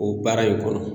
O baara in kɔnɔ